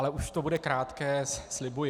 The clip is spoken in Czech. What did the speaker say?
Ale už to bude krátké, slibuji.